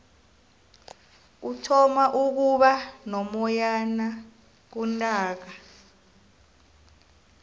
kuthoma ukuba nomoyana kuntaaka